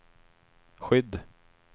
skydd